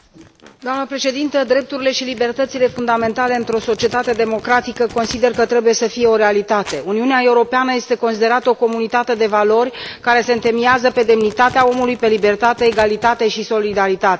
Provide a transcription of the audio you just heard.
Doamnă președinte, consider că drepturile și libertățile fundamentale într o societate democratică trebuie să fie o realitate. Uniunea Europeană este considerată o comunitate de valori care se întemeiază pe demnitatea omului, pe libertate, egalitate și solidaritate.